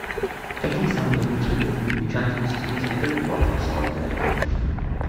какие самые лучшие достопримечательности есть недалеко от вашего отеля